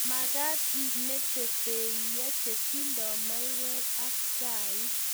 Makat imete peiyo chetindoi maiyek ak chaik